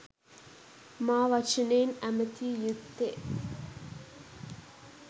මා වචනයෙන් ඇමතිය යුත්තේ.